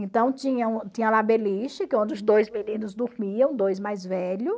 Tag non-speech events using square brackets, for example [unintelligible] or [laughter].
Então tinha [unintelligible] tinha lá a beliche, que é onde os dois meninos dormiam, dois mais velhos.